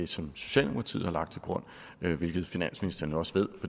som socialdemokratiet har lagt til grund hvilket finansministeren også ved